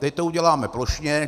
Teď to uděláme plošně.